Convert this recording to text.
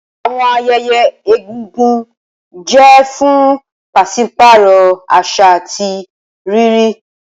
Awọn ayẹyẹ egungun jẹ fun paṣipaarọ aṣa ati riri.